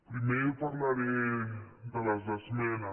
primer parlaré de les esmenes